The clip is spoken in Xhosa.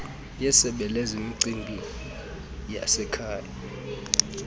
yesebe lezemicimbi yasekhaya